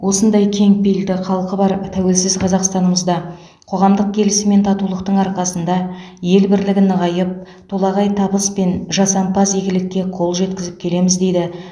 осындай кеңпейілді халқы бар тәуелсіз қазақстанымызда қоғамдық келісім мен татулықтың арқасында ел бірлігі нығайып толағай табыс пен жасампаз игілікке қол жеткізіп келеміз дейді